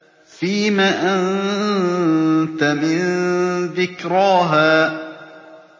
فِيمَ أَنتَ مِن ذِكْرَاهَا